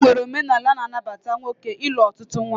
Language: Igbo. E nwere omenala na-anabata nwoke ịnụ ọtụtụ nwaanyị